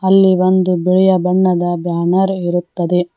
ಇಲ್ಲಿ ಒಂದು ಬಿಳಿಯ ಬಣ್ಣದ ಬ್ಯಾನರ್ ಇರುತ್ತದೆ.